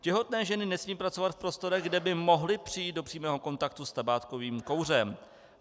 Těhotné ženy nesmí pracovat v prostorech, kde by mohly přijít do přímého kontaktu s tabákovým kouřem.